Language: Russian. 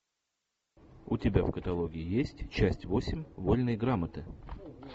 у тебя в каталоге есть часть восемь вольной грамоты